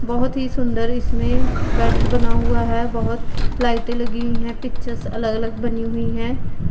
बहोत ही सुंदर इसमें बेड बना हुआ है बहोत लाइटें लगी हुई हैं पिक्चर्स अलग अलग बनी हुई हैं।